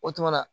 O tumana